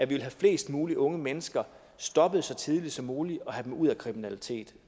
vil have flest mulige unge mennesker stoppet så tidligt som muligt og have dem ud af kriminalitet